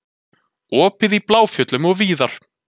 Opið í Bláfjöllum og víðar